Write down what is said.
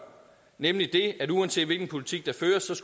nemlig at uanset hvilken politik der føres